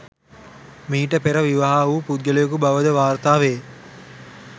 මීට පෙර විවාහ වූ පුද්ගලයෙකු බවද වාර්තාවේ.